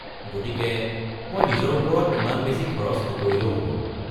গতিকে মই নিজৰ ওপৰত ইমান বেছি খৰচ নকৰিলেও হ’ব।